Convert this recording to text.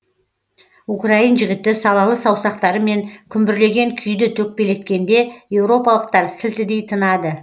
украин жігіті салалы саусақтарымен күмбірлеген күйді төкпелеткенде еуропалықтар сілтідей тынады